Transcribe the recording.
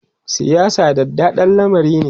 siyasa daɗaɗɗan lamari ne